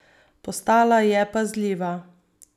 Postala je pazljiva.